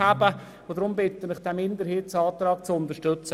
Deshalb bitte ich Sie, diesen Minderheitsantrag zu unterstützen.